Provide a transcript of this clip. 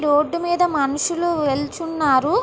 Road మీద మనుషులు వెళ్తున్నారు.